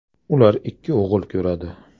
Ular ikki o‘g‘il ko‘radi.